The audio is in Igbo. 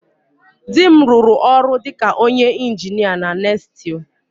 Di m rụrụ ọrụ dị ka onye injinia na NESTLE